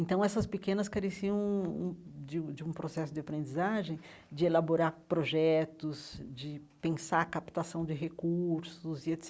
Então, essas pequenas careciam hum hum de um de um processo de aprendizagem, de elaborar projetos, de pensar captação de recursos e et